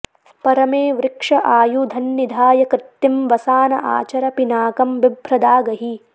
प॒र॒मे वृ॒क्ष आयु॑धन्नि॒धाय॒ कृत्तिं॒ वसा॑न॒ आच॑र॒ पिना॑कं॒ बिभ्र॒दाग॑हि